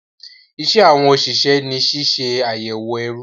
Iṣẹ́ àwọn òṣìṣẹ́ ni ṣíṣe àyẹ̀wò ẹrù